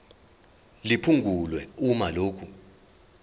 liphungulwe uma lokhu